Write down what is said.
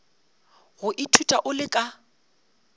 go ithuta o le ka